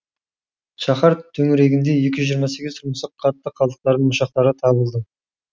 шаһар төңірегінде екі жүз жиырма сегіз тұрмыстық қатты қалдықтардың ошақтары табылды